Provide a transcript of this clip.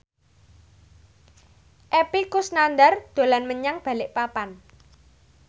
Epy Kusnandar dolan menyang Balikpapan